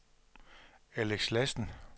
Alex Lassen